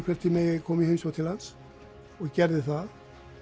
hvort ég megi koma í heimsókn til hans og gerði það